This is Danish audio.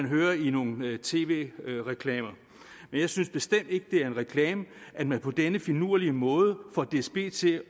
høre i nogle tv reklamer men jeg synes bestemt ikke det er en reklame at man på denne finurlige måde får dsb til